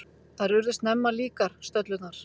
Þær urðu snemma líkar, stöllurnar.